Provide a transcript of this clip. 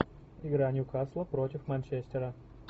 игра ньюкасла против манчестера